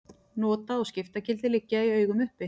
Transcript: Nota- og skiptagildi liggja í augum uppi.